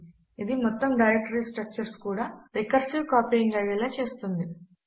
ఇది మొత్తము directory structure కూడా రికర్సివ్ కాపీయింగ్ అయ్యేలా చేస్తుంది